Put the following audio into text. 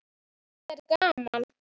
Þetta er gaman.